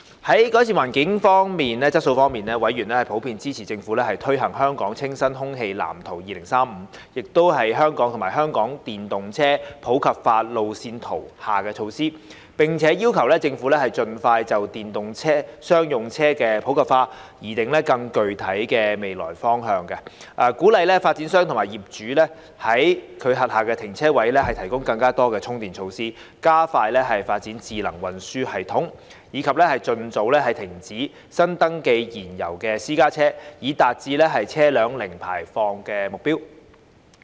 在改善空氣質素方面，委員普遍支持政府推行《香港清新空氣藍圖2035》及《香港電動車普及化路線圖》下的措施，並要求政府盡快就電動商用車的普及化擬訂更具體的未來路向、鼓勵發展商及業主在其轄下停車位提供更多充電設施、加快發展智能運輸系統，以及盡早停止新登記燃油私家車，以達致車輛零排放的目標。